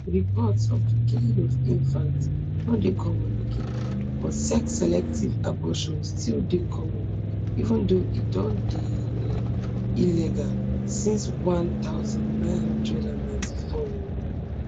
reports of di killing of infants no dey common again but sexselective abortion still dey common even though e don dey um illegal since one thousand, nine hundred and ninety-four um